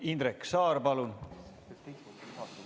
Indrek Saar, palun!